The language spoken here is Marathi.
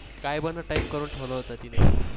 काय Type करून ठेवल होत तिने.